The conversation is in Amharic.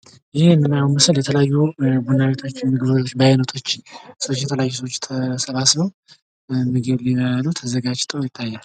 ይህ የምናየው ምስል የተለያዩ ቡና ቤቶች ምግብ ቤቶች በአይነቶች ሰወች የተለያዩ ሰዎች ተሰባስበው ምግብ ሊበሉ ተዘጋጅተው ይታያል።